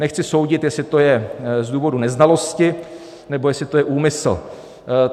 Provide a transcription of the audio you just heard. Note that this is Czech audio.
Nechci soudit, jestli to je z důvodu neznalosti, nebo jestli to je úmysl.